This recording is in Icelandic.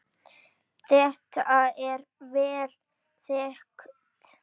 Þetta er vel þekkt.